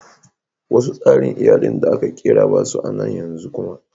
Wasu tsarin iyallin da aka kira ba su a'nan yanzu kuma.